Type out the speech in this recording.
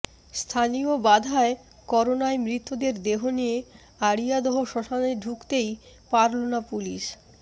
স্থানীয় বাধায় করোনায় মৃতদের দেহ নিয়ে আড়িয়াদহ শ্মশানে ঢুকতেই পারল না পুলিস